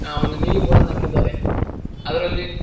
ಆ ಒಂದು ನೀಲಿ ಬೋರ್ಡನ್ನು ಹಾಕಿದ್ದಾರೆ ಅದರಲ್ಲಿ--